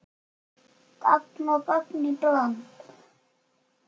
Gagn og gaman í bland.